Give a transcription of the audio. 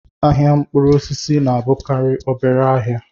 Ahịa mkpụrụ osisi na-abụkarị obere ahịa